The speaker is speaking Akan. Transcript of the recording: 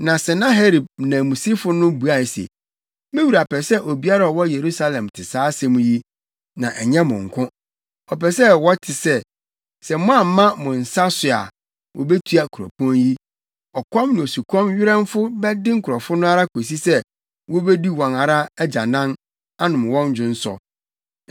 Na Senaherib nanmusini no buae se, “Me wura pɛ sɛ obiara a ɔwɔ Yerusalem te saa asɛm yi, na ɛnyɛ mo nko. Ɔpɛ sɛ wɔte sɛ, sɛ moamma mo nsa so a, wobetua kuropɔn yi. Ɔkɔm ne osukɔm werɛmfo bɛde nkurɔfo no ara kosi sɛ, wobedi wɔn ara agyanan, anom wɔn dwonsɔ.”